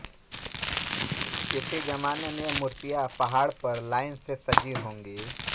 किसी जमाने में ये मूर्तियां पहाड़ पर लाइन से सजी होंगी